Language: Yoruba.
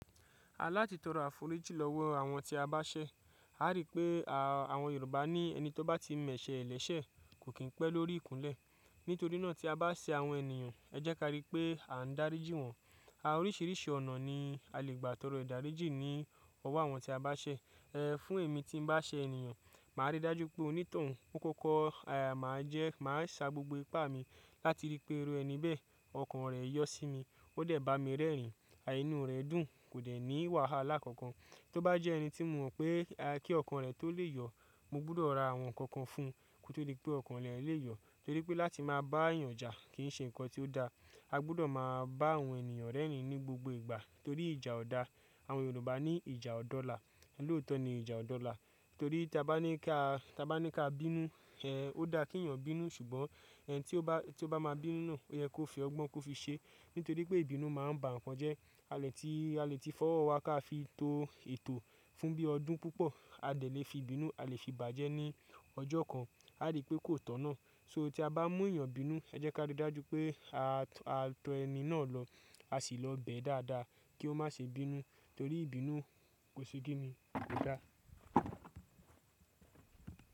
A láti tọrọ àforíjì lọ́wọ́ àwọn tí a bá ṣẹ. A rí pé àwọn Yorùbá ní ẹni tó bá ti mẹ̀ṣẹ́ ẹlẹ́sẹ̀ kò kín pẹ́ lórí ìkúnlẹ̀. Nítorí náà tí a bá ṣẹ àwọn ènìyàn, ẹ jẹ́ ká rí pé à ń darí jí wọn. Oríṣìíríṣìí ọ̀nà ni a lè gbà torọ ìdáríjì ní ọwọ́ àwọn tí a bá ṣẹ. Ẹ̀, fún èmi tí n bá ṣẹ ènìyàn, màá rí dájú pé onítọ̀hún ó'kókó, àmàá jẹ́, màá sa gbogbo ipá mi láti rí pé irú ẹni bẹ́ẹ̀, ọkàn rẹ̀ yọ́ sí mi, ó dẹ̀ bá mi rẹ́rìn-ín, à inú rẹ dùn, kò dẹ̀ ní wàhálà kankan. Tó bá jẹ́ ẹni tí mo mọ̀ pé kí ọkàn rẹ tó lè yọ̀, mo gbọ́dọ̀ ra àwọn nǹkan kan fún un kí ó tó rí pé ọkàn rẹ̀ lè yọ̀. Torí pé láti máa bá ènìyàn ja kì í ṣe nǹkan tí ó da. A gbọ́dọ̀ máa bá àwọn ènìyàn rẹ́rìn-ín ní gbogbo ìgbà torí ìjà ọ̀da. Àwọn Yorùbá ní ìjà ọ̀dọ́ la. L'oótọ́ ni ìjà ọ̀dọ́ la. Torí tí a bá ní ká, tí a bá ní ká bínú, ẹ, ó da kí ẹ̀yàn bínú ṣùgbọ́n ẹni tí ó bá, tí ó bá máa bínú, ó yẹ kó fi ọgbọ́n kó fi ṣe nítorí pé ìbínú máa ń ba nǹkan jẹ́. A lè tí, a lè tí fọwọ́ wa ká fi to ètò fún bí ọdún púpọ̀, a dẹ̀ lè fi ìbínú, a lè fi bàjẹ́ ní ọjọ́ kan. A rí pé kò tọ̀nà. So tí a bá mú ẹ̀yàn bínú, ẹ jẹ́ ká rí dájú pé a to ẹni náà lọ, a sì lọ bẹ̀ ẹ́ dáadáa kí ó má ṣe bínú torí ìbínú kose kini? Kò da.